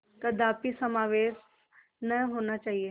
कदापि समावेश न होना चाहिए